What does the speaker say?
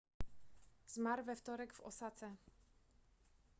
zmarł we wtorek w osace